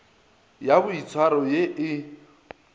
le ya boitshwaro ye e